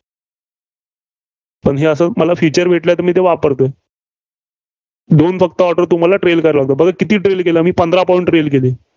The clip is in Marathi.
पण हे अस मला असंच Feature भेटलं ती मी वापरतो. दोन फक्त order तुम्हाला trail करवले. बघा किती trail केले? मी पंधरा point trail केले.